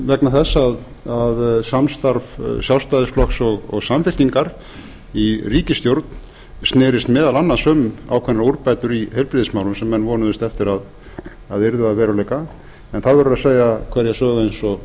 vegna þess að samstarf sjálfstæðisflokks og samfylkingar í ríkisstjórn snerist meðal annars um ákveðnar úrbætur í heilbrigðismálum sem menn vonuðust eftir að yrðu að veruleika en það verður að segja hverja sögu eins og